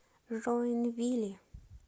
жоинвили